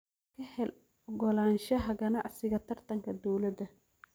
Ka hel ogolaanshaha ganacsiga taranka dawladda.